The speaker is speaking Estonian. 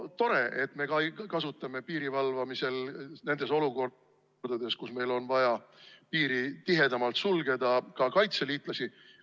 Tore, et me kasutame piirivalvamisel nendes olukordades, kus meil on vaja piiri tihedamalt sulgeda, ka kaitseliitlasi.